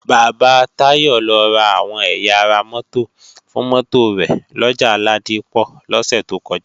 Bàbá Táyọ̀ lọ ra àwọn ẹ̀yà ara mótò fún mótò rẹ̀ lọjà Ládípọ̀ lọ́sẹ̀ tó kọjá